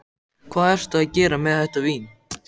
Hvað ertu að gera með þetta vín?